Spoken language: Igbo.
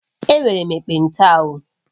Enwere m ekpenta o